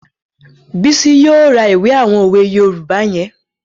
Bísí yóò ra ìwé àwọn òwe yoòbá yẹn